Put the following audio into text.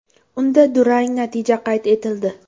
Unda durang natija qayd etildi.